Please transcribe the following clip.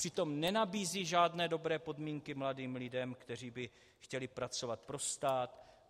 Přitom nenabízí žádné dobré podmínky mladým lidem, kteří by chtěli pracovat pro stát.